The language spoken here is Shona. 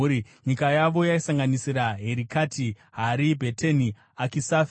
Nyika yavo yaisanganisira: Herikati, Hari, Bheteni, Akishafi,